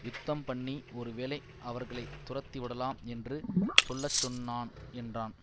யுத்தம்பண்ணி ஒருவேளை அவர்களை துரத்திவிடலாம் என்று சொல்ல சொன்னான் என்றான்